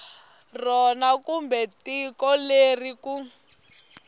rona kumbe tiko leri ku